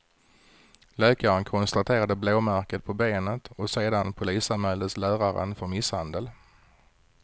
Läkaren konstaterade blåmärket på benet och sedan polisanmäldes läraren för misshandel.